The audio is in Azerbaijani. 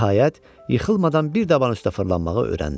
Nəhayət, yıxılmadan bir daban üstə fırlanmağı öyrəndi.